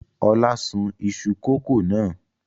Ọlá sun iṣu kòkó náà?